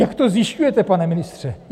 Jak to zjišťujete, pane ministře?